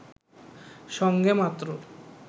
সঙ্গে মাত্র